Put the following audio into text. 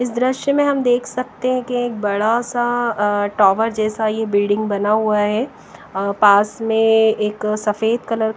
इस दृश्य में हम देख सकते हैं कि एक बड़ा सा अ टावर जैसा यह बिल्डिंग बना हुआ है अ पास में एक सफेद कलर --